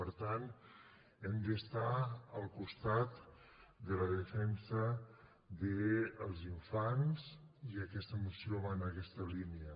per tant hem d’estar al costat de la defensa dels infants i aquesta moció va en aquesta línia